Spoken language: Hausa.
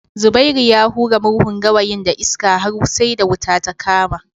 Zubairu ya hura murhun gawayin da iska har sai da wuta ta kama